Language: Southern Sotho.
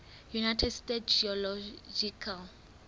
united states geological